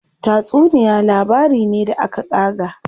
Tatsuniya labari ne da aka ƙaga.